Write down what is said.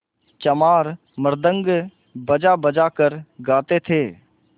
चमार मृदंग बजाबजा कर गाते थे